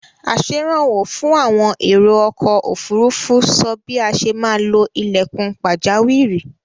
Asẹ̀rànwó fún àwọn èrò-ọkọ̀-òfurufú sọ bí a ṣe maá lo ilẹ̀kùn pàjáwìrì.